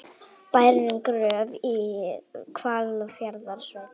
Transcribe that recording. Bærinn Gröf í Hvalfjarðarsveit.